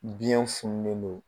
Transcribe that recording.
Biɲɛ funulen don.